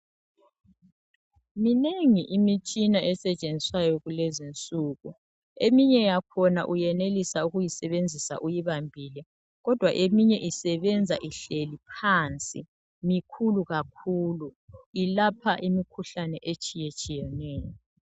Minengi imitshana esetshenziswayo kulezi insuku . Eminye yakhona uyenelisa ukuyisebenzisa uyibambile kodwa eminye isebenza ihleli phansi , mikhulu kakhulu, ilapha imikhuhlane etshiyetshiyeneyo.